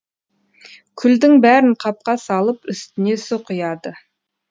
күлдің бәрін қапқа салып үстіне су құяды